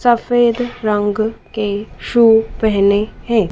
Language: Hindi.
सफेद रंग के शू पहने हैं।